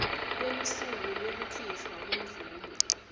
kwelusuku lwekukhishwa kwemvumo